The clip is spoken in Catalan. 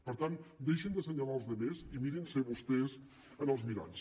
per tant deixin d’assenyalar els altres i mirin se vostès en els miralls